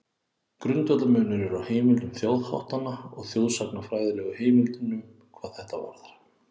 Grundvallarmunur er á heimildum þjóðháttanna og þjóðsagnafræðilegu heimildunum hvað þetta varðar.